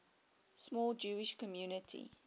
small jewish community